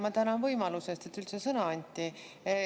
Ma tänan võimaluse eest, et üldse sõna anti.